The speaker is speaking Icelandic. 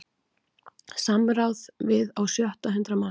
Samráð við á sjötta hundrað manns